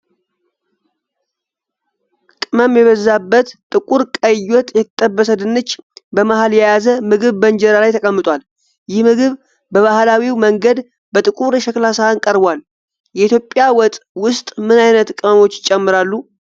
ቅመም የበዛበት ጥቁር ቀይ ወጥ የተጠበሰ ድንች በመሃል የያዘ ምግብ በእንጀራ ላይ ተቀምጧል። ይህ ምግብ በባህላዊው መንገድ በጥቁር የሸክላ ሳህን ቀርቧል። የኢትዮጵያ ወጥ ውስጥ ምን ዓይነት ቅመሞች ይጨመራሉ?